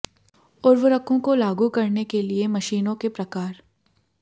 उर्वरकों को लागू करने के लिए मशीनों के प्रकार